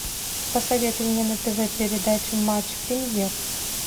посоветуй мне на тв передачу матч премьер